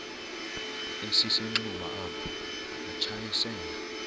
esisenxuba apho wathwasela